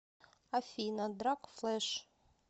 афина драг флэш